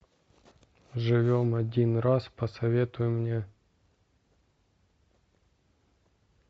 живем один раз посоветуй мне